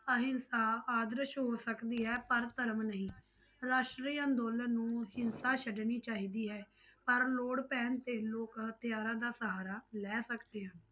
ਅਹਿੰਸਾ ਆਦਰਸ਼ ਹੋ ਸਕਦੀ ਹੈ ਪਰ ਧਰਮ ਨਹੀਂ, ਰਾਸ਼ਟਰੀ ਅੰਦੋਲਨ ਨੂੰ ਹਿੰਸਾ ਛੱਡਣੀ ਚਾਹੀਦੀ ਹੈ, ਪਰ ਲੋੜ ਪੈਣ ਤੇ ਲੋਕ ਹਥਿਆਰਾਂ ਦਾ ਸਹਾਰਾ ਲੈ ਸਕਦੇ ਹਨ।